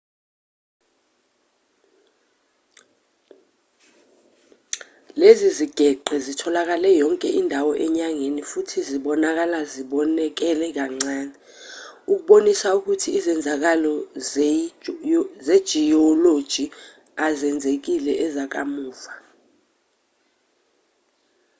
lezi zigeqe zitholakale yonke indawo enyangeni futhi zibonakala zonakele kancane okubonisa ukuthi izenzakalo zejiyoloji ezizenzile ezakamuva